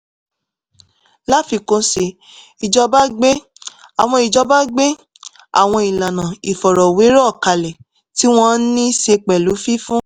láfikún sí i ìjọba gbé àwọn ìjọba gbé àwọn ìlànà ìfọ̀rọ̀wérọ̀ kalẹ̀ tí wọ́n ní í ṣe pẹ̀lú fífún